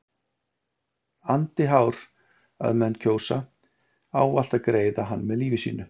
andi hár að menn kjósa ávallt að greiða hann með lífi sínu.